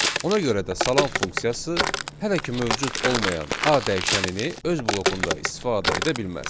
Ona görə də salam funksiyası hələ ki mövcud olmayan A dəyişənini öz blokunda istifadə edə bilməz.